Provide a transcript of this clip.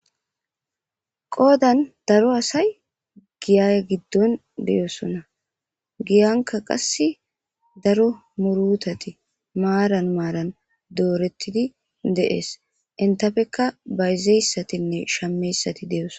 Qoodan daro asay giyay giddon deyosona giyanka qass daro murutati maaran maaran doorettidi deees entafekka bayzeyssatinne shameyssati deyoso.